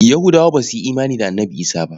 Yahudawa ba su yi imani da Annabi Isah ba.